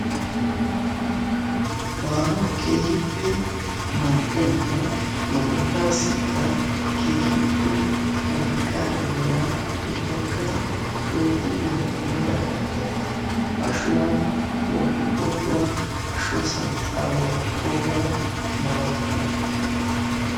Maanawu keehippe mal'iyaanne bollasikka keehippe wolqqa immiya ubbaka protiniyan kumida katta hegttikka ashuwaa, qociqocuwaa, ashuwaa santtara walakidoga hegetane hegeta malatiyabata.